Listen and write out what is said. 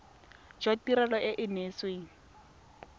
jwa tirelo e e neetsweng